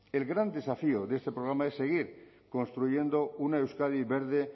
el gran desafío de este programa es seguir construyendo una euskadi verde